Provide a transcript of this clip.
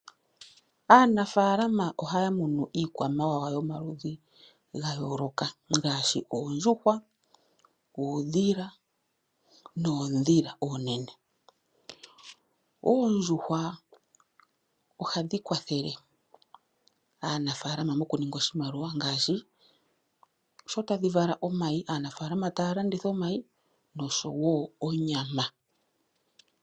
Aanafaalama ohaa munu iikwamawawa yomaludhi ga yooloka ngaashi oondjuhwa, uudhila noondhila oonene. Oondjuhwa ohadhi kwathele aanafaalama mokuninga oshimaliwa, sho tadhi vala omayi yo taa landitha omayi osho wo onyama.